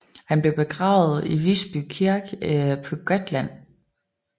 Han blev begravet i Visby Kirke på Gotland